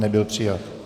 Nebyl přijat.